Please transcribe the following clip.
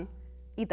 í dag